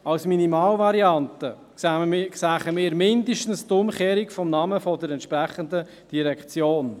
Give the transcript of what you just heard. Als Minimalvariante sähen wir mindestens die Umkehrung des Namens der entsprechenden Direktion.